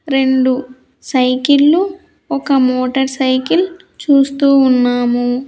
రెండు సైకిల్లు ఒక మోటార్ సైకిల్ చూస్తూ ఉన్నాము.